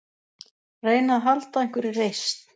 Reyna að halda einhverri reisn.